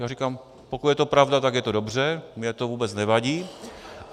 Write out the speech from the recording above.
Já říkám, pokud je to pravda, tak je to dobře, mně to vůbec nevadí.